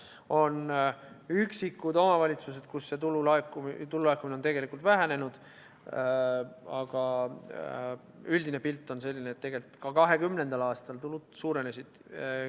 On üksikud omavalitsused, kus tulu laekumine on vähenenud, aga üldine pilt on selline, et tegelikult ka 2020. aastal tulud suurenesid.